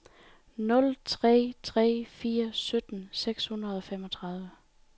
nul tre tre fire sytten seks hundrede og femogtredive